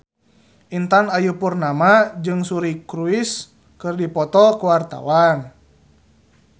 Intan Ayu Purnama jeung Suri Cruise keur dipoto ku wartawan